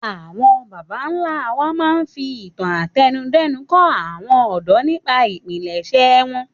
Àwọn baba ńlá wa máa ń fi ìtàn àtẹnudẹ́nu kọ́ àwọn ọ̀dọ́ nípa ìpilẹ̀ṣẹ̀ wọn